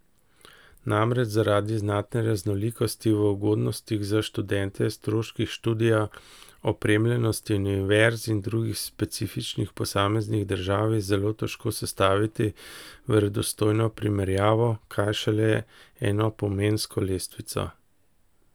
Namreč zaradi znatne raznolikosti v ugodnostih za študente, stroških študija, opremljenosti univerz in drugih specifikah posameznih držav, je zelo težko sestaviti verodostojno primerjavo, kaj šele enopomensko lestvico.